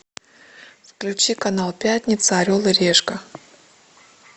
включи канал пятница орел и решка